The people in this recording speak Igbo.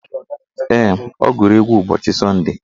Ee, ọ gụrụ egwu ụbọchị sọnde